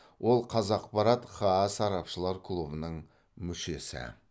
ол қазақпарат хаа сарапшылар клубының мүшесі